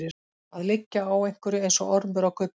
Að liggja á einhverju eins og ormur á gulli